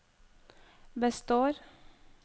består